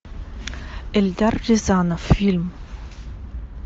эльдар рязанов фильм